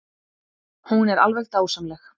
Hún er alveg dásamleg.